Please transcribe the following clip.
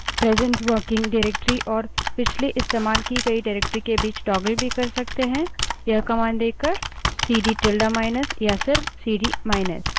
present working directory और पिछली इस्तेमाल की गयी directory के बीच toggle भी कर सकते हैं यह command देकर